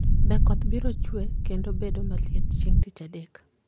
Be koth biro chue kendo bedo maliet chieng' Tich Adek